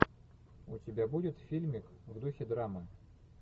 у тебя будет фильмик в духе драмы